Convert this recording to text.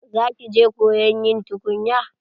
Za ki je koyon yin tukunya?